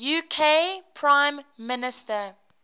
uk prime minister